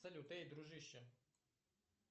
салют эй дружище